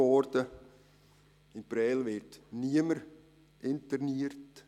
In Prêles wird niemand interniert.